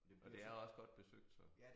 Og det også godt besøgt så